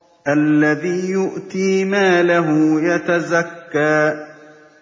الَّذِي يُؤْتِي مَالَهُ يَتَزَكَّىٰ